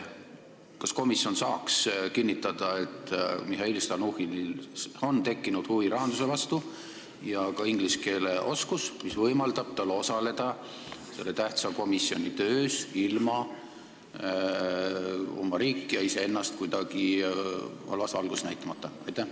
Kas komisjon saaks kinnitada, et Mihhail Stalnuhhinil on tekkinud huvi rahanduse vastu ja ka inglise keele oskus, mis võimaldab tal osaleda selle tähtsa komitee töös ilma oma riiki ja iseennast kuidagi halvas valguses näitamata?